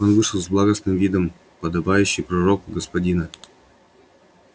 он вышел с благостным видом подобающий пророку господина